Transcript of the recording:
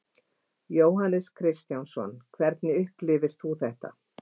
Jóhannes Kristjánsson: Hvernig upplifir þú þetta?